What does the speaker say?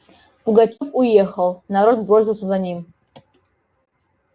пугачёв уехал народ бросился за ним